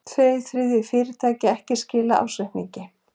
Tveir þriðju fyrirtækja ekki skilað ársreikningi